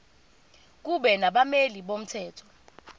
kube nabameli bomthetho